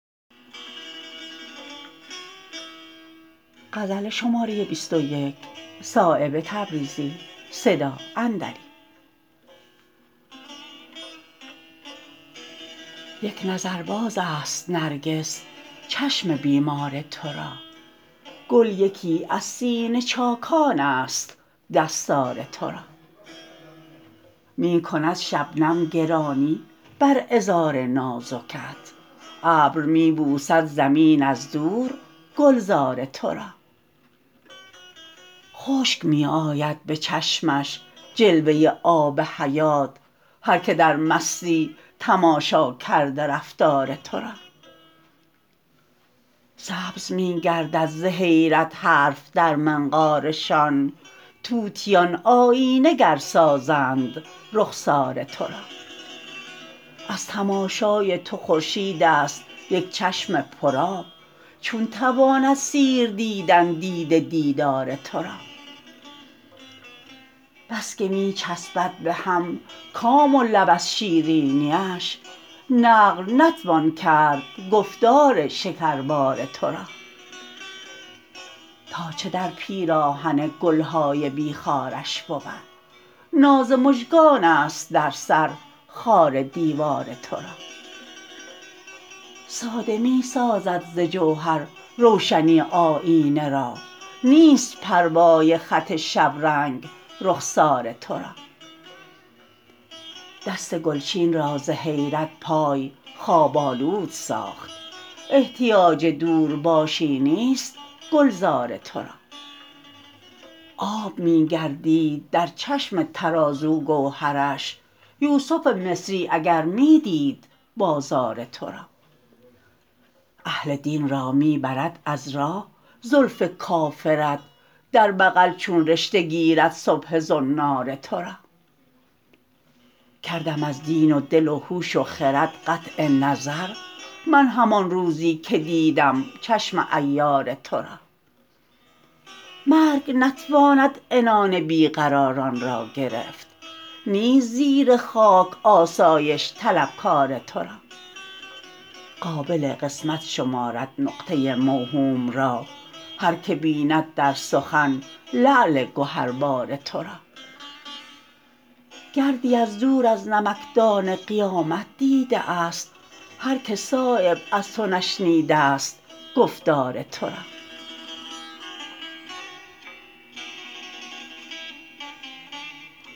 یک نظر بازست نرگس چشم بیمار ترا گل یکی از سینه چاکان است دستار ترا می کند شبنم گرانی بر عذار نازکت ابر می بوسد زمین از دور گلزار ترا خشک می آید به چشمش جلوه آب حیات هر که در مستی تماشا کرده رفتار ترا سبز می گردد ز حیرت حرف در منقارشان طوطیان آیینه گر سازند رخسار ترا از تماشای تو خورشیدست یک چشم پر آب چون تواند سیر دیدن دیده دیدار ترا بس که می چسبد به هم کام و لب از شیرینی اش نقل نتوان کرد گفتار شکربار ترا تا چه در پیراهن گلهای بی خارش بود ناز مژگان است در سر خار دیوار ترا ساده می سازد ز جوهر روشنی آیینه را نیست پروای خط شبرنگ رخسار ترا دست گلچین را ز حیرت پای خواب آلود ساخت احتیاج دور باشی نیست گلزار ترا آب می گردید در چشم ترازو گوهرش یوسف مصری اگر می دید بازار ترا اهل دین را می برد از راه زلف کافرت در بغل چون رشته گیرد سبحه زنار ترا کردم از دین و دل و هوش و خرد قطع نظر من همان روزی که دیدم چشم عیار ترا مرگ نتواند عنان بی قراران را گرفت نیست زیر خاک آسایش طلبکار ترا قابل قسمت شمارد نقطه موهوم را هر که بیند در سخن لعل گهربار ترا گردی از دور از نمکدان قیامت دیده است هر که صایب از تو نشنیده است گفتار ترا